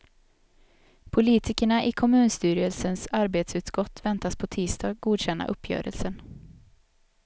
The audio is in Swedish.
Politikerna i kommunstyrelsens arbetsutskott väntas på tisdag godkänna uppgörelsen.